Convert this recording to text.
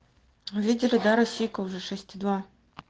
видел да российка уже шесть и два